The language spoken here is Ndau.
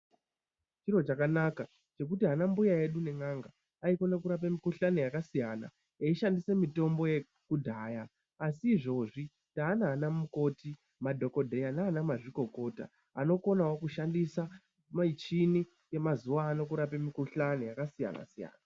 Chiro chakanaka chekuti ana mbuya edu nen'anga aikone kurapa mikhuhlani yakasiyana eishandise mitombo yekudhaya asi izvozvi taana ana mukoti , madhokodheya nana mazvikokota anokonawo kushandisa michini yemazuwano kurape mikhuhlani yakasiyana siyana.